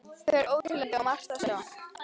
Þau eru óteljandi og margt að sjá.